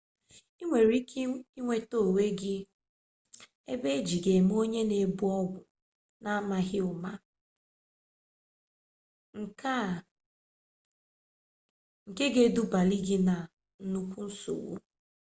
i ga-ahụtali onwe gị ebe e ji gị eme onye na-ebu ọgwụ n'amaghị ụma nke ga-edubali gị na nnukwu nsogbu